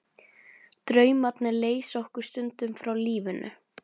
Draumarnir leysa okkur stundum frá lífinu.